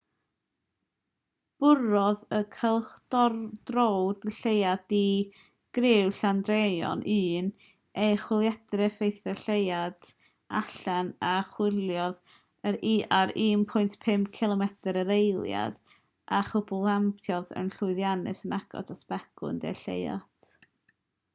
bwrodd y cylchdröwr lleuad di-griw chandrayaan-1 ei chwiliedydd effaith ar y lleuad mip allan a chwyrlïodd ar 1.5 cilomedr yr eiliad 3000 milltir yr awr a chwymplaniodd yn llwyddiannus yn agos at begwn de'r lleuad